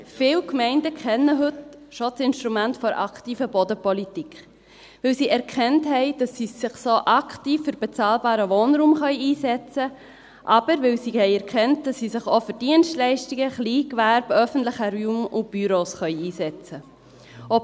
Viele Gemeinden kennen heute schon das Instrument der aktiven Bodenpolitik, weil sie erkannt haben, dass sie sich so aktiv für bezahlbaren Wohnraum einsetzen können, oder weil sie erkannt haben, dass sie sich auch für Dienstleistungen, Kleingewerbe, öffentlichen Raum und Büros einsetzen können.